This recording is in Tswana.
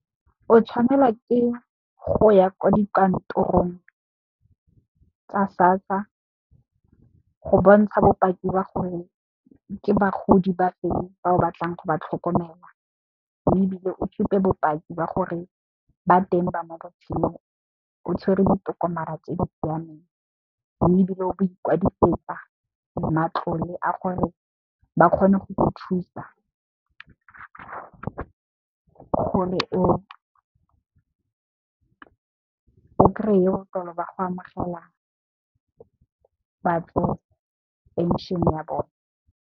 O tshwanela ke go ya kwa dikantorong tsa SASSA go bontsha bopaki ba gore ke bagodi ba feng ba o batlang go ba tlhokomela. Mme, ebile o supe bopaki ba gore ba teng ba mo botshelong o tshwere ditokomane tse di siameng mme, ebile o bo ikwadisetsa matlole a gore ba kgone go go thusa gore o kry-e ba go amogela batsofe penšhene ya bone.